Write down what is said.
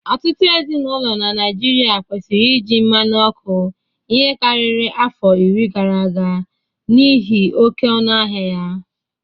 Ụtụtụ ezinaụlọ na Naịjịrịa kwụsịrị iji mmanụ ọkụ ihi karịrị afọ iri gara aga n'ihi oke ọnụ ahịa ya.